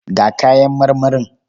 Ga kayan marmarin.